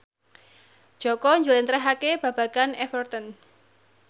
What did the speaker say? Jaka njlentrehake babagan Everton